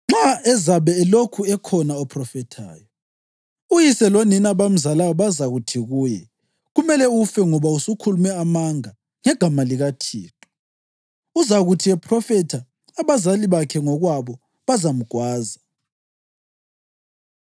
Nxa ezabe elokhu ekhona ophrofethayo, uyise lonina abamzalayo bazakuthi kuye, ‘Kumele ufe ngoba usukhulume amanga ngegama likaThixo.’ Uzakuthi ephrofitha abazali bakhe ngokwabo bazamgwaza.